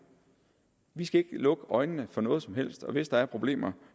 vi skal ikke lukke øjnene for noget som helst og hvis der er problemer